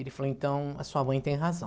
Ele falou, então, a sua mãe tem razão.